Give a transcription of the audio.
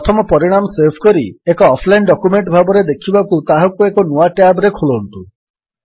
ପ୍ରଥମ ପରିଣାମ ସେଭ୍ କରି ଏକ ଅଫଲାଇନ୍ ଡକ୍ୟୁମେଣ୍ଟ ଭାବରେ ଦେଖିବାକୁ ତାହାକୁ ଏକ ନୂଆ ଟ୍ୟାବ୍ ରେ ଖୋଲନ୍ତୁ